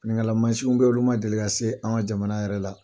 Fininkala mansinw bɛ yen olu ma deli ka se an ka jamana yɛrɛ la.